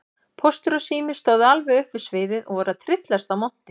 Póstur og Sími stóðu alveg upp við sviðið og voru að tryllast af monti.